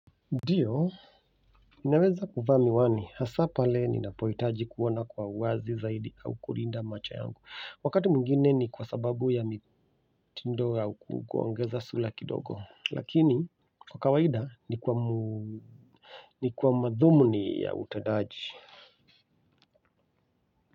Ndiyo, ninaweza kuvaa miwani, hasa pale ninapohitaji kuona kwa uwazi zaidi au kulinda macho yangu wakati mwingine ni kwa sababu ya mitindo au kuongeza sula kidogo lakini, kwa kawaida, ni kwa madhumuni ya utendaji.